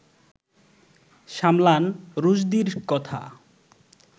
সামলান রুশদীর কথা